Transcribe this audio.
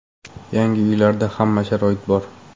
Yangi uylarda hamma sharoit bor.